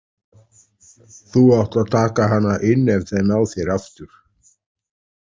Þú átt að taka hana inn ef þeir ná þér aftur